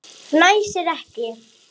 Fnæsir ekki.